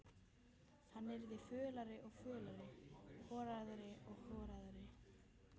Hann yrði fölari og fölari, horaðri og horaðri.